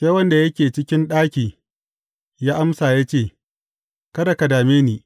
Sai wanda yake cikin ɗaki ya amsa ya ce, Kada ka dame ni.